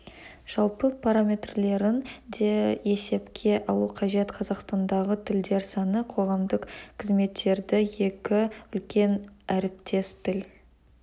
жалпы параметрлерін де есепке алу қажет қазақстандағы тілдер саны қоғамдық қызметтерді екі үлкен әріптес тіл